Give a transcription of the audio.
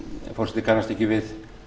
forseti kannast ekki við